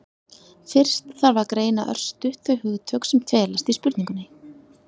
fyrst þarf að greina örstutt þau hugtök sem felast í spurningunni